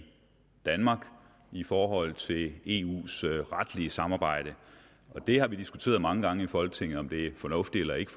danmark i forhold til eus retlige samarbejde vi har diskuteret mange gange i folketinget om det er fornuftigt eller ikke